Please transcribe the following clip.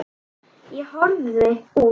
Ég horfi út.